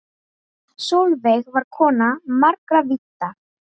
Sólveig var kona margra vídda.